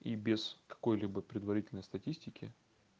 и без какой-либо предварительной статистики